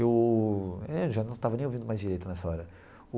Eu é já não estava nem ouvindo mais direito nessa hora.